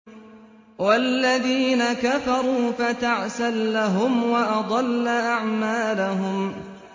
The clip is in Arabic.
وَالَّذِينَ كَفَرُوا فَتَعْسًا لَّهُمْ وَأَضَلَّ أَعْمَالَهُمْ